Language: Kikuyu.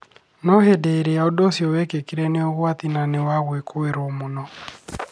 No hĩndĩ ĩrĩa ũndũ ũcio wekĩkire nĩ ũgwati na nĩ wagwĩkũĩrwo mũno